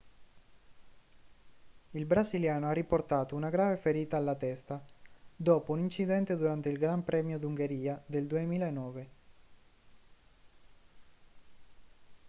il brasiliano ha riportato una grave ferita alla testa dopo un incidente durante il gran premio d'ungheria del 2009